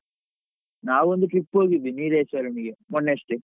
ನಾವೊಂದು trip ಹೋಗಿದ್ವಿ ನೀಲೇಶ್ವರಂಗೆ ಮೊನ್ನೆಯಷ್ಟೇ.